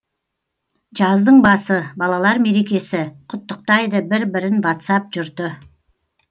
жаздың басы балалар мерекесі құттықтайды бір бірін вацап жұрты